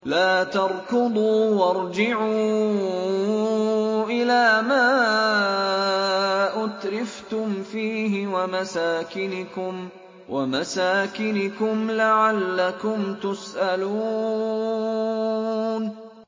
لَا تَرْكُضُوا وَارْجِعُوا إِلَىٰ مَا أُتْرِفْتُمْ فِيهِ وَمَسَاكِنِكُمْ لَعَلَّكُمْ تُسْأَلُونَ